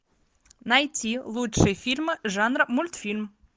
найти лучшие фильмы жанра мультфильм